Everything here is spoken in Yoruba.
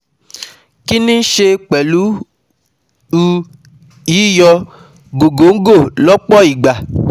Kò ní í ṣe pẹ̀lú u yíyọ gògóńgò lọhpọ̀ ìgbà